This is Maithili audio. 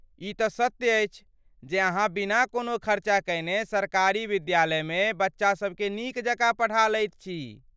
ई तँ सत्य अछि जे अहाँ बिना कोनो खर्चा कयने सरकारी विद्यालयमे बच्चासबकेँ नीक जकाँ पढ़ा लैत छी।